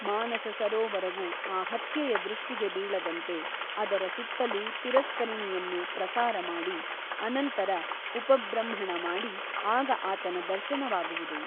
ಮಾನಸ ಸರೋವರವು ಆ ಹತ್ಯೆಯ ದೃಷ್ಟಿಗೆ ಬೀಳದಂತೆ ಅದರ ಸುತ್ತಲೂ ತಿರಸ್ಕರಿಣಿಯನ್ನು ಪ್ರಸಾರಮಾಡಿ ಅನಂತರ ಉಪಬೃಂಹಣ ಮಾಡಿ ಆಗ ಆತನ ದರ್ಶನವಾಗುವುದು.